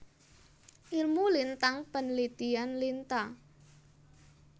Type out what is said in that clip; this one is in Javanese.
Ilmu Lintang penelitian Lintang